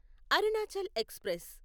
Arunachal express